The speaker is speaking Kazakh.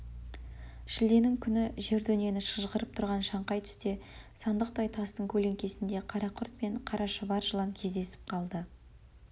шілденің күні жер-дүниені шыжғырып тұрған шаңқай түсте сандықтай тастың көлеңкесінде қарақұрт пен қара шұбар жылан кездесіп қалды